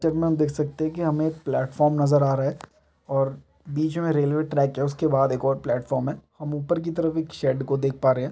--चर में हम देख सकते हैं की हमे एक प्लेटफार्म नजर आ रहा है और बीच में एक रेलवे ट्रैक है उसके बाद एक और प्लेटफार्म हैं हम ऊपर की तरफ एक शेड को देख पा रहे हैं।